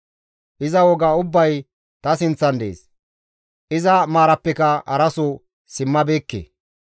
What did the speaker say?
Iza woga ubbay ta sinththan dees; iza maarappeka haraso simmabeekke.